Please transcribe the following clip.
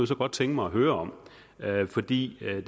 så godt tænke mig at høre om fordi det er jo